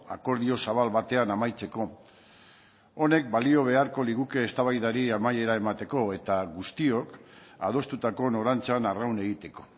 akordio zabal batean amaitzeko honek balio beharko liguke eztabaidari amaiera emateko eta guztiok adostutako norantzan arraun egiteko